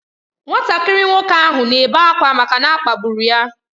Nwatakịrị nwoke ahụ na-ebe akwa maka na a kpagburu ya.